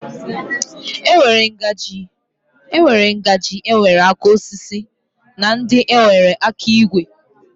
E nwere ngaji nwere aka osisi na ndị nwere aka igwe.